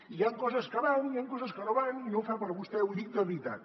i hi han coses que van i hi han coses que no van i no fa per a vostè ho dic de veritat